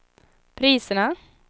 priserna